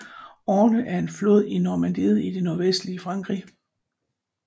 Orne er en flod i Normandiet i det nordvestlige Frankrig